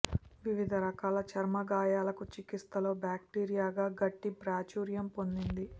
వివిధ రకాల చర్మ గాయాలకు చికిత్సలో బాక్టీరియాగా గడ్డి ప్రాచుర్యం పొందింది